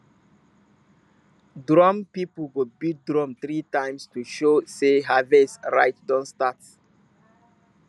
drum people go beat drum three times to show sey harvest rite don start